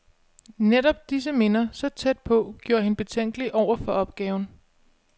Netop disse minder, så tæt på, gjorde hende betænkelig over for opgaven.